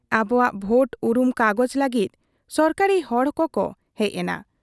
ᱟᱵᱚᱣᱟᱜ ᱵᱷᱳᱴ ᱩᱨᱩᱢ ᱠᱟᱜᱚᱡᱽ ᱞᱟᱹᱜᱤᱫ ᱥᱚᱨᱠᱟᱨᱤ ᱦᱚᱲ ᱠᱚᱠᱚ ᱦᱮᱡ ᱮᱱᱟ ᱾